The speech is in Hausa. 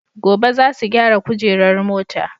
Gobe zasu gyara kujerar mota